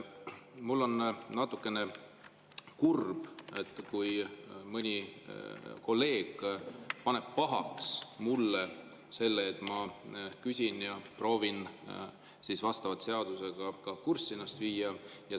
Ma olen natukene kurb, kui mõni kolleeg paneb mulle pahaks, et ma küsin ja proovin vastavalt seadusele ennast kurssi viia.